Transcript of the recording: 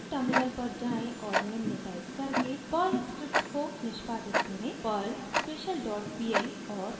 फिर टर्मिनल पर जाएँ और निम्न टाइप करके पर्ल स्क्रिप्ट को निष्पादित करें perl special dot pl और एंटर दबाएं